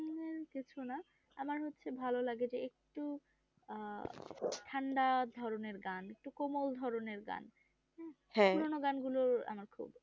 না আমার হচ্ছে ভালো লাগে যে একটু আহ ঠান্ডা ধরণের গান একটু কোমল ধরণের গান পুরোনো গান গুলো আমার খুব